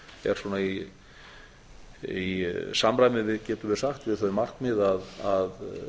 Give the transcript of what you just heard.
er svona í samræmi getum við sagt við þau markmið að